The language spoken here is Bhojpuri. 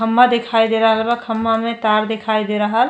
खम्बा दिखाई दे रहल बा। खम्बा में तार दिखाई दे रहल --